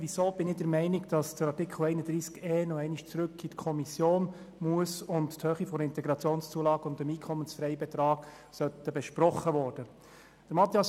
Weshalb bin ich der Meinung, dass Artikel 31e noch einmal zurück in die Kommission gehen muss und die Höhe der Integrationszulage (IZU) und des Einkommensfreibetrags (EFB) besprochen werden soll?